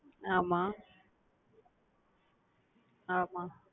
ஆமா ஆமா